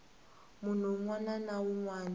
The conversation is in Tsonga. munhu wun wana na wun